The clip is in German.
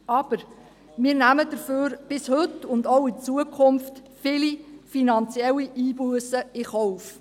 Aber: Wir nahmen dafür bis heute und auch in Zukunft viele finanzielle Einbussen in Kauf.